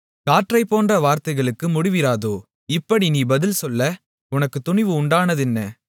காற்றைப்போன்ற வார்த்தைகளுக்கு முடிவிராதோ இப்படி நீ பதில்சொல்ல உனக்குத் துணிவு உண்டானதென்ன